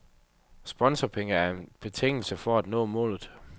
Sponsorpenge er en betingelse for at nå målet.